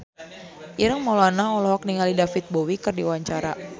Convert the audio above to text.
Ireng Maulana olohok ningali David Bowie keur diwawancara